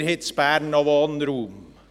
Wir haben in Bern noch Wohnraum.